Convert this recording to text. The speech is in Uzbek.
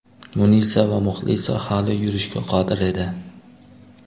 Munisa va Muxlisa hali yurishga qodir edi.